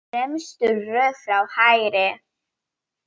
Í fremstu röð frá hægri